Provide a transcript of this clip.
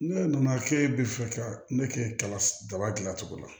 Ne nana k'e bɛ fɛ ka ne kɛ kala daba dilan cogo la